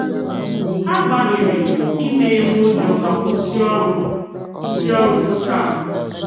Ha gbalịrị imenye m ụjọ ma kwụsị ọrụ kwụsị ọrụ nkwusa m